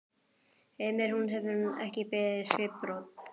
Heimir: Hún hefur ekki beðið skipbrot?